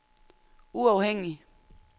uafhængige